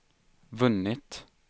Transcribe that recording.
vunnit